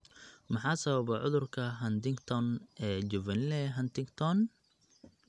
Maxaa sababa cudurka Huntington ee Juvenile Huntington (HD)?